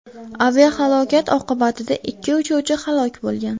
Aviahalokat oqibatida ikki uchuvchi halok bo‘lgan.